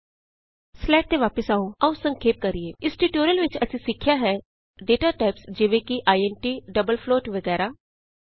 ਆਉ ਆਪਣੀ ਸਲਾਈਡ ਤੇ ਵਾਪਸ ਚਲੀਏ ਆਉ ਸੰਖੇਪ ਕਰੀਏ ਇਸ ਟਿਯੂਟੋਰਿਅਲ ਵਿਚ ਅਸੀਂ ਸਿੱਖਿਆ ਹੈ ਡਾਟਾ ਟਾਈਪਸ ਜਿਵੇਂ ਕਿ ਆਈਐਨਟੀ ਡਬਲ ਫਲੋਟ ਵਗੈਰਹ